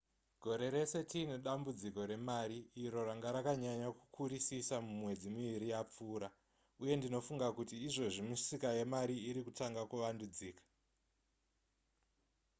gore rese tiine dambudziko remari iro ranga rakanyanya kukurisisa mumwedzi miviri yapfuura uye ndinofunga kuti izvozvi misika yezvemari iri kutanga kuvandudzika